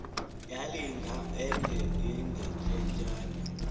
yalinga enye ingetyengetyana